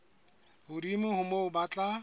hodimo ho moo ba tla